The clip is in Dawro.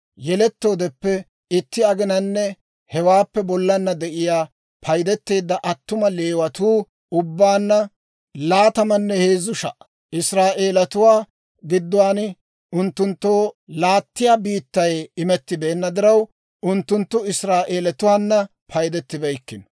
Yelettoodeppe itti aginanne hewaappe bollana de'iyaa paydeteedda attuma Leewatuu ubbaanna laatamanne heezzu sha"a. Israa'eelatuwaa gidduwaan unttunttoo laattiyaa biittay imettibeenna diraw, unttunttu Israa'eelatuwaana paydettibeykkino.